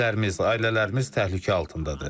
Evlərimiz, ailələrimiz təhlükə altındadır.